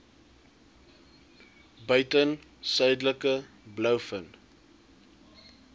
buiten suidelike blouvin